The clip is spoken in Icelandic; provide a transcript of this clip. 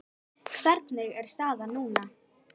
Hvernig er staðan núna?